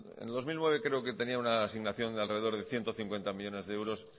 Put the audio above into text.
en el dos mil nueve creo que tenía una asignación de alrededor de ciento cincuenta millónes de euros